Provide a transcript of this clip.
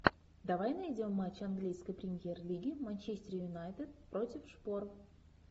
давай найдем матч английской премьер лиги манчестер юнайтед против шпор